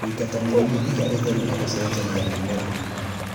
Kũingata mĩrimũ iga ũtheru na gũcenjania mĩmera .